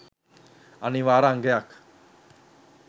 අනිවාර්ය අංගයක්